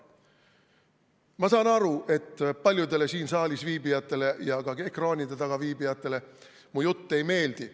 Ma saan aru, et paljudele siin saalis viibijatele ja ka ekraanide taga viibijatele mu jutt ei meeldi.